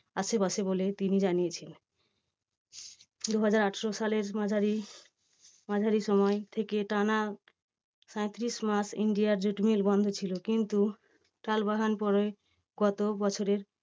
আশেপাশে বলে তিনি জানিয়েছেন। দুহাজার আটশো সালের মাঝারি মাঝারি সময় থেকে টানা সাঁইত্রিশ মাস India jute mill বন্ধ ছিল। কিন্তু টালবাহানার পরে গত বছরে